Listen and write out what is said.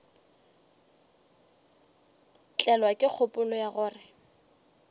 tlelwa ke kgopolo ya gore